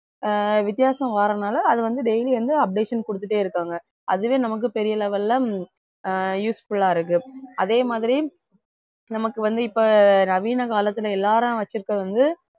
ஆஹ் வித்தியாசம் வரதுனால அது வந்து daily வந்து updation கொடுத்துட்டே இருக்காங்க அதுவே நமக்கு பெரிய level ல ஆஹ் useful ஆ இருக்கு அதே மாதிரி நமக்கு வந்து இப்ப நவீன காலத்துல எல்லாரும் வச்சிருக்கிறது வந்து